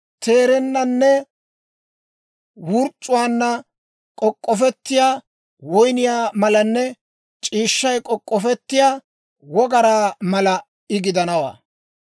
Teerennaan wurc'c'uwaanna k'ok'k'ofettiyaa woyniyaa malanne c'iishshay k'ok'k'ofettiyaa wogaraa mala I gidanawaa.